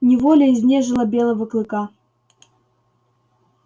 неволя изнежила белого клыка